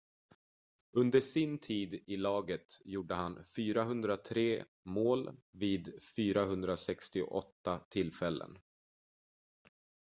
under sin tid i laget gjorde han 403 mål vid 468 tillfällen